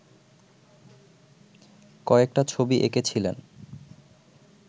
কয়েকটা ছবি এঁকেছিলেন